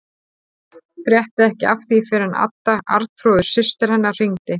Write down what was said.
Frétti ekki af því fyrr en Adda, Arnþrúður systir hennar, hringdi.